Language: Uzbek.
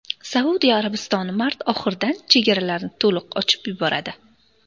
Saudiya Arabistoni mart oxiridan chegaralarni to‘liq ochib yuboradi.